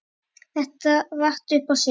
Þetta vatt upp á sig.